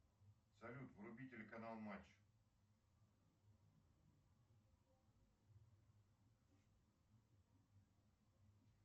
салют вруби телеканал матч